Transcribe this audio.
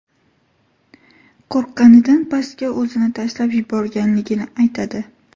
qo‘rqqanidan pastga o‘zini tashlab yuborganligini aytadi.